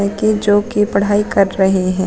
जोकि पढ़ाई कर रहे हैं।